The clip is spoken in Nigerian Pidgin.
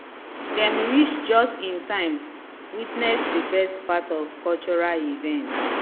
dem reach just in time witness the best part of cultural event